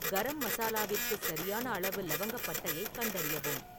கரம் மசாலாவிற்கு சரியான அளவு இலவங்கப்பட்டையைக் கண்டறியவும்